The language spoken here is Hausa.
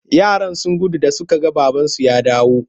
Yaran sun gudu da suka ga babansu ya dawo.